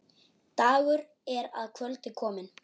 Dagur er að kvöldi kominn.